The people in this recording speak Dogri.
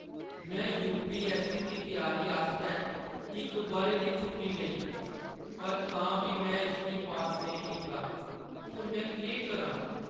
में यू.पी.ऐस्स.सी. दी त्यारी आस्तै इक बʼरे दी छुट्टी लेई, पर तां बी में इसगी पास नेईं कीता। हून में केह् करां?